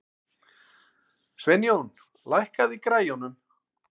Sveinjón, lækkaðu í græjunum.